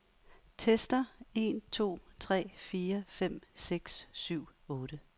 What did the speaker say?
Tester en to tre fire fem seks syv otte.